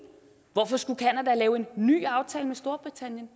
hvorfor skulle canada lave en ny aftale med storbritannien